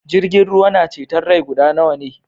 Jirgin ruwa na ceton rai guda nawa ne?